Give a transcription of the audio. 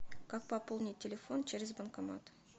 как пополнить телефон через банкомат